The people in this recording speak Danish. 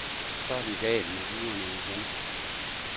Så er den gal med duerne igen.